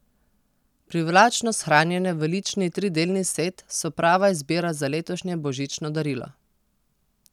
Privlačno shranjene v lični tridelni set so prava izbira za letošnje božično darilo.